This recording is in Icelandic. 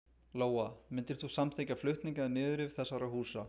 Lóa: Myndir þú samþykkja flutning eða niðurrif þessara húsa?